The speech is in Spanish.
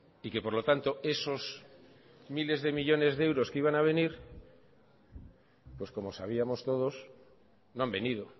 y que por lo tanto esos miles de millónes de euros que iban a venir pues como sabíamos todos no han venido